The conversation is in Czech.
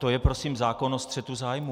To je prosím zákon o střetu zájmů.